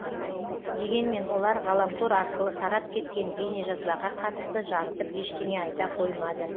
дегенмен олар ғаламтор арқылы тарап кеткен бейнежазбаға қатысты жарытып ештеңе айта қоймады